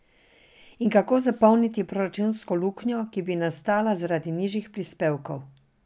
In kako zapolniti proračunsko luknjo, ki bi nastala zaradi nižjih prispevkov?